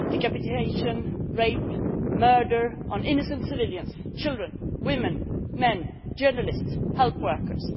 Decapitation, rape and murder of innocent civilians children, women, men, journalists, health workers.